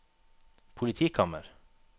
politikammer